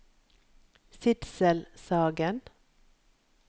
Sidsel Sagen